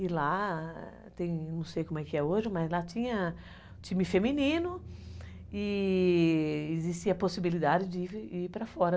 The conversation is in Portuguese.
E lá, tem, não sei como é que é hoje, mas lá tinha time feminino e existia a possibilidade de ir para fora.